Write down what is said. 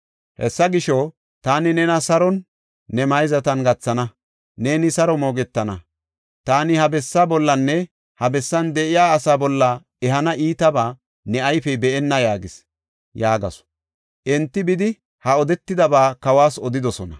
Hessa gisho, taani nena saron ne mayzatan gathana; neeni saro moogetana. Taani ha bessaa bollanne ha bessan de7iya asaa bolla ehana iitaba ne ayfey be7enna’ yaagees” yaagasu. Enti bidi, ha odetidaba kawas odidosona.